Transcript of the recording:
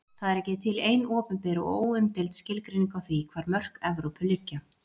Það er ekki til ein opinber og óumdeild skilgreining á því hvar mörk Evrópu liggja.